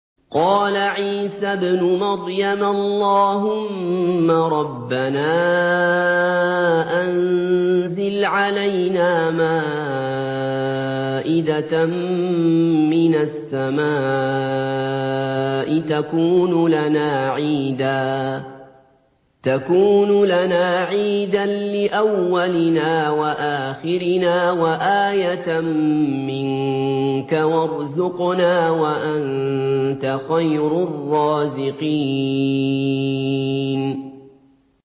قَالَ عِيسَى ابْنُ مَرْيَمَ اللَّهُمَّ رَبَّنَا أَنزِلْ عَلَيْنَا مَائِدَةً مِّنَ السَّمَاءِ تَكُونُ لَنَا عِيدًا لِّأَوَّلِنَا وَآخِرِنَا وَآيَةً مِّنكَ ۖ وَارْزُقْنَا وَأَنتَ خَيْرُ الرَّازِقِينَ